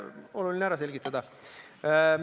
Oluline on ära selgitada.